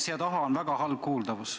Siin taga on väga halb kuuldavus.